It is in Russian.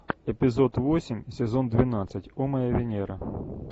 эпизод восемь сезон двенадцать о моя венера